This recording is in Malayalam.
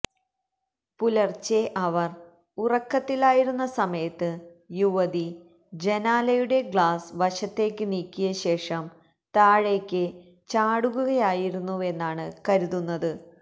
പുലർച്ചെ അവർ ഉറക്കത്തിലായിരുന്ന സമയത്ത് യുവതി ജനാലയുടെ ഗ്ളാസ് വശത്തേക്ക് നീക്കിയശേഷം താഴേക്ക് ചാടുകയായിരുന്നുവെന്നാണ് കരുതുന്നത്